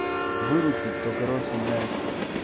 выручить то короче блять